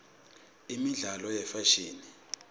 imibzalo yefashini